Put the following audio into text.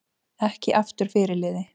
Ekki aftur fyrirliði